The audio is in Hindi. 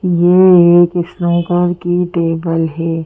ये एक स्नूकर की टेबल है।